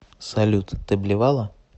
салют ты блевала